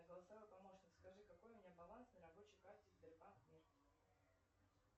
голосовой помощник скажи какой у меня баланс на рабочей карте сбербанк мир